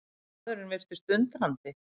Maðurinn virtist undrandi.